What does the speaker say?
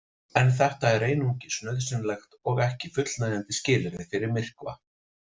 En þetta er einungis nauðsynlegt og ekki fullnægjandi skilyrði fyrir myrkva.